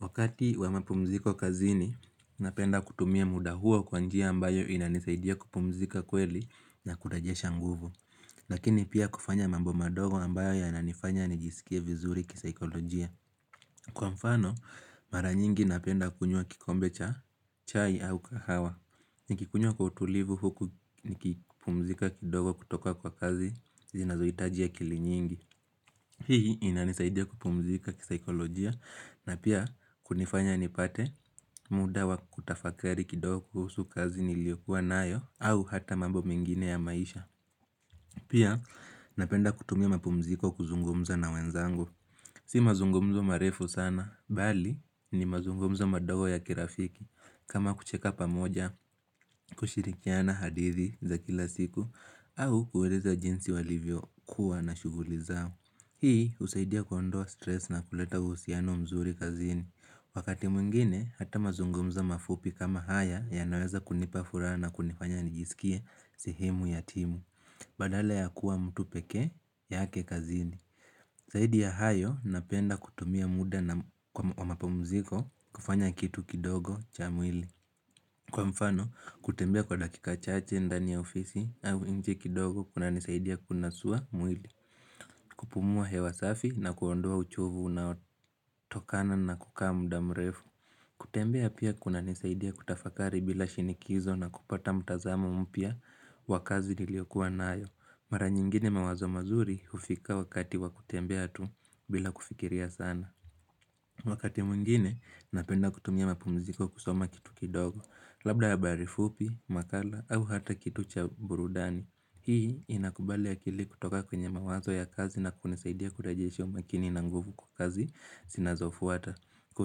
Wakati wa mapumziko kazini, napenda kutumia muda huo kwa njia ambayo inanisaidia kupumzika kweli na kurejesha nguvu. Lakini pia kufanya mambo madogo ambayo yananifanya nijisikie vizuri kisaikolojia. Kwa mfano, mara nyingi napenda kunywa kikombe cha chai au kahawa. Nikikunywa kwa utulivu huku nikipumzika kidogo kutoka kwa kazi, zinazoitajia akili nyingi. Hii inanisaidia kupumzika kisaikolojia na pia kunifanya nipate muda wa kutafakari kidogo kuhusu kazi nilio kuwa nayo au hata mambo mengine ya maisha Pia napenda kutumia mapumziko kuzungumza na wenzangu Si mazungumzo marefu sana, bali ni mazungumzo madogo ya kirafiki kama kucheka pamoja, kushirikiana hadithi za kila siku au kueleza jinsi walivyo kuwa na shuguli zao Hii usaidia kuondoa stress na kuleta uhusiano mzuri kazini. Wakati mwingine, hata mazungumzo mafupi kama haya ya naweza kunipa furaha na kunifanya nijisikie sihimu yatimu, badala ya kuwa mtu peke yake kazini. Saidi ya hayo, napenda kutumia muda na kwa mapumziko kufanya kitu kidogo cha mwili. Kwa mfano, kutembea kwa dakika chache ndani ya ofisi au nje kidogo kunanisaidia kunasuwa mwili. Kupumua hewasafi na kuondoa uchovu na unaotokana na kukaa muda mrefu kutembea pia kuna nisaidia kutafakari bila shinikizo na kupata mtazamo mpya wa kazi niliokua nayo Mara nyingine mawazo mazuri ufika wakati wakutembea tu bila kufikiria sana Wakati mwingine napenda kutumia mapumziko kusoma kitu kidogo Labda habari fupi, makala au hata kitu cha burudani Hii inakubali akili kutoka kwenye mawazo ya kazi na kunisaidia kurejesha umakini na nguvu kwa kazi sinazofuata. Kwa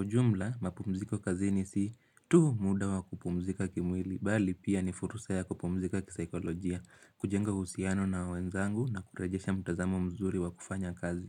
ujumla, mapumziko kazini si tu muda wa kupumzika kimwili, bali pia ni fursa ya kupumzika kisaikolojia, kujenga husiano na wenzangu na kurejesha mtazamo mzuri wa kufanya kazi.